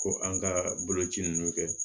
Ko an ka boloci ninnu kɛ